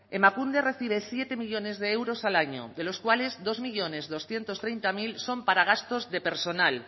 emakunde recibe siete millónes de euros al año de los cuales dos millónes doscientos treinta mil son para gastos de personal